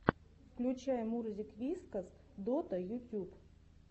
включай мурзик вискас дота ютюб